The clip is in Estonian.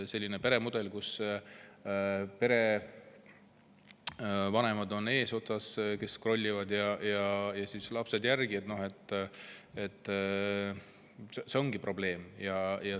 Selline peremudel, kus vanemad skrollivad ees ja lapsed järel, ongi probleem.